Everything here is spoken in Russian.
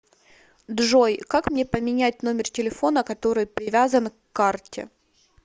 джой как мне поменять номер телефона который привязан к карте